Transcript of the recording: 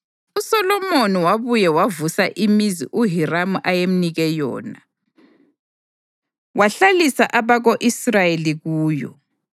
uSolomoni wabuye wavusa imizi uHiramu ayemnike yona, wahlalisa abako-Israyeli kuyo.